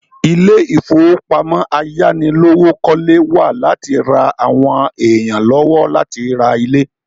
Ilé ìfowópamọ́ ayánilówókọ́lé wà láti ra àwọn èèyàn lọ́wọ́ láti ra ilé